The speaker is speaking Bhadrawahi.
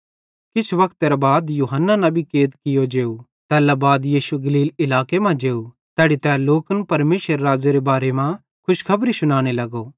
किछ वक्तेरां बाद यूहन्ना कैद कियो जेव तैल्ला बाद यीशु गलील इलाके मां जेव तैड़ी तै लोकन परमेशरेरे राज़्ज़ेरे बारे मां खुशखबरी शुनाने लगो